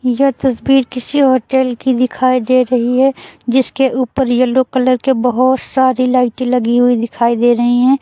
यह तस्वीर किसी होटल की दिखाई दे रही है जिसके ऊपर येलो कलर के बहोत सारी लाइटे लगी हुई दिखाई दे रही है।